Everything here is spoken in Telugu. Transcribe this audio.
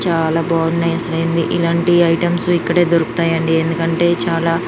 చాలా బాగున్నాయి అసలు ఏంది ఇలాంటి ఐటమ్స్ ఇక్కడే దొరుకుతాయి అండి ఎందుకంటే చాలా --.